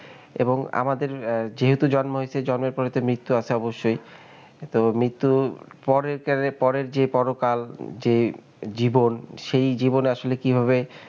এবং আমাদের যেহেতু জন্ম হইছে, জন্মের পরে তো মৃত্যু আছে অবশ্যই, তো মৃত্যু পরের যে পরকাল যেই জীবন সেই জীবন আসলে কিভাবে,